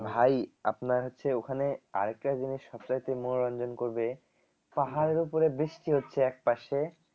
ভাই আপনার হচ্ছে ওখানে আর একটা জিনিস সবচাইতে মনোরঞ্জন করবে পাহাড়ের উপরে বৃষ্টি হচ্ছে এক পাশে